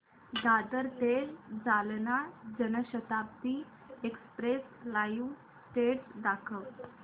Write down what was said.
दादर ते Jalna Janshatabdi express live status दाखव